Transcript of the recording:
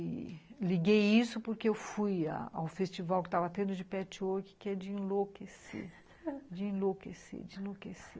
E liguei isso porque eu fui ao festival que estava tendo de patchwork, que é de enlouquecer, de enlouquecer, de enlouquecer.